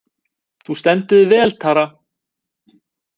Þú stendur þig vel, Tara!